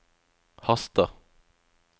haster